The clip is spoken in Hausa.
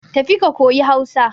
Tafi ka koyi Hausa.